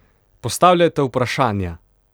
Postavljajte vprašanja!